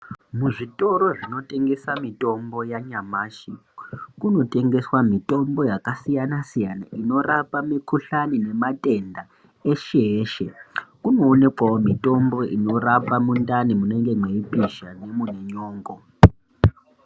Mu zvitoro zvino tengesa mitombo ya nyamashi kuno tengeswa mitombo yaka siyana siyana inorapa mi kuhlani ne matenda eshe eshe kuno onekwawo mitombo inorapa mundani munenge mwei pisha nemune nyongo.